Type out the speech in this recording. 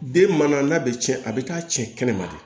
Den mana n'a bɛ cɛn a bɛ taa cɛn kɛnɛma de